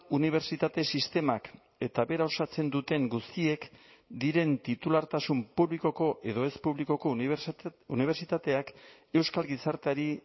unibertsitate sistemak eta bera osatzen duten guztiek diren titulartasun publikoko edo ez publikoko unibertsitateak euskal gizarteari